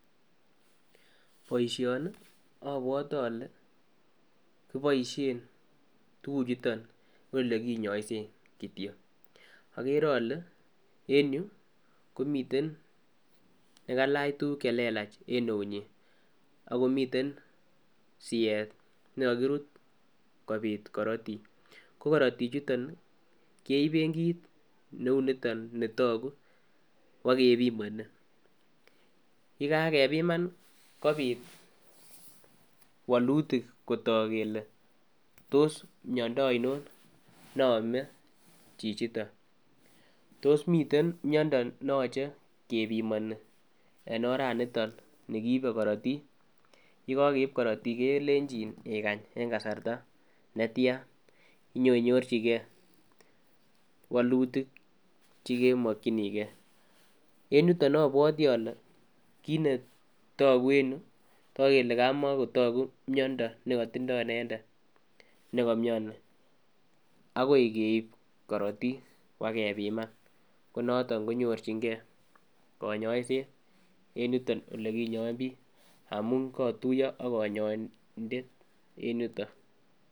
Boishoni obwote ole kiboishen tukuk chuton en ole konyoiset kityok, okere ole en yuu komiten nekailach tukuk chelelach en eunyin akomiten siet nekokirut kopit korotik, ko korotik chuton nii keiben kit neu niton netoku kwo kepimoni. Yekakepiman Nii kopit wolutik kotok kele tos miondo oino ne ome chichiton tos miten miondo neyoche kepimoni en oraniton ni kiibe korotik, yekokeib korotik kelenjin ikany en kasarta netyan inyoinyorchigee wolutik chekemokinii gee. En yutok obwotii Ole kit netokuen yuu toku kele komokotoku miondo nekotindo inendet nekomioni akoi keibu korotik bokepiman ko noton konyorchigee konyoiset en yuton ole kinyoen bik amun kotuyo ak konyoindet en yuton.